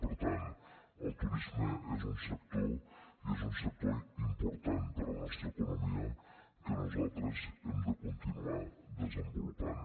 per tant el turisme és un sector i és un sector important per a la nostra economia que nosaltres hem de continuar desenvolupant